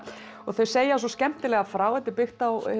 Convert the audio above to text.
og þau segja svo skemmtilega frá þetta er byggt á